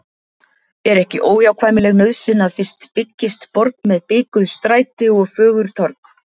Er ekki óhjákvæmileg nauðsyn að fyrst byggist borg með bikuð stræti og fögur torg.